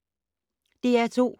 DR2